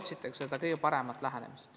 Otsitakse seda kõige paremat lahendust.